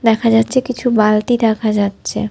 দেখা যাচ্ছে কিছু বালতি দেখা যাচ্ছে।